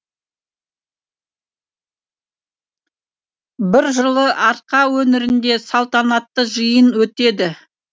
бір жылы арқа өңірінде салтанатты жиын өтеді